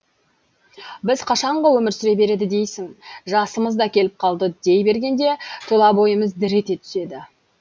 біз қашанғы өмір сүре береді дейсің жасымыз да келіп қалды дей бергенде тұла бойымыз дір ете түседі